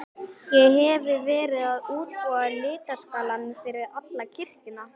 Ég hefi verið að útbúa litaskalann fyrir alla kirkjuna.